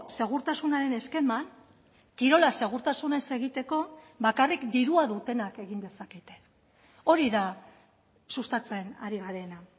segurtasunaren eskeman kirola segurtasunez egiteko bakarrik dirua dutenak egin dezakete hori da sustatzen ari garena